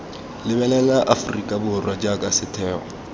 lebelela aforika borwa jaaka setheo